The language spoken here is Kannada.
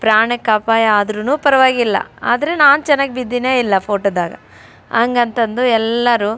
ಪ್ರಾಣಕ್ಕೆ ಅಪಾಯವಾದರುನು ಪರವಾಗಿಲ್ಲ ಆದ್ರೆ ನಾನ್ ಚೆನ್ನಾಗಿದ್ದೀನಿ ಇಲ್ಲ ಫೋಟೋದಾಗ ಅಂಗಂತ ಅಂದು ಎಲ್ಲರೂ --